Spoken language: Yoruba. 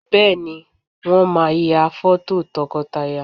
Bẹ́ẹ̀, Wọ́n máa ya fọ́tò tọkọtaya